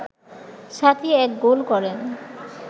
সাথী এক গোল করেন